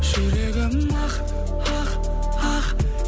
жүрегім ақ ақ ақ